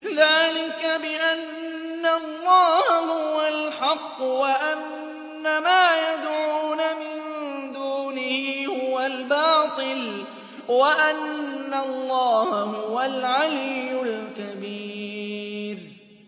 ذَٰلِكَ بِأَنَّ اللَّهَ هُوَ الْحَقُّ وَأَنَّ مَا يَدْعُونَ مِن دُونِهِ هُوَ الْبَاطِلُ وَأَنَّ اللَّهَ هُوَ الْعَلِيُّ الْكَبِيرُ